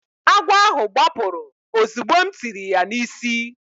Agwọ ahụ gbapụrụ ozugbo m tiri ya n’isi.